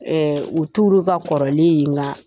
Ɛɛ u t'olu ka kɔrɔlen ye nka